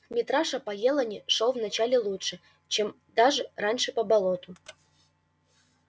митраша по елани шёл вначале лучше чем даже раньше по болоту